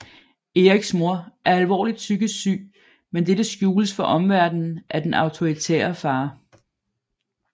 Eriks mor er alvorligt psykisk syg men dette skjules for omverdenen af den autoritære far